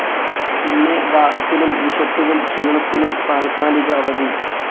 പിന്നെ ദാഹത്തിനും വിശപ്പിനും ക്ഷീണത്തിനും താൽക്കാലിക അവധി.